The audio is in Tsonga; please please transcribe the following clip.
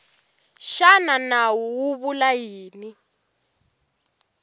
xana nawu wu vula yini